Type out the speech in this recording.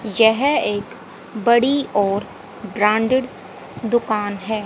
यह एक बड़ी और ब्रांडेड दुकान है।